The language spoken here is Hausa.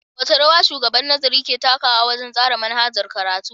Wace rawa Shugaban Nazari ke takawa wajen tsara manhajar karatu.